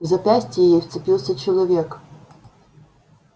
в запястье ей вцепился человек